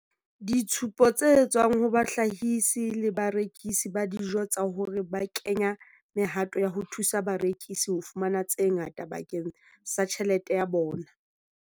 ditshupo tse tswang ho bahlahisi le barekisi ba dijo tsa hore ba kenya mehato ya ho thusa barekisi ho fumana tse ngata bakeng sa tjhelete ya bona.